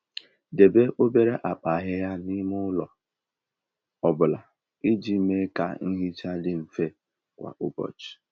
Debe obere akpa ahịhịa n'ime ụlọ ọ bụla iji mee ka nhicha dị mfe kwa ụbọchị.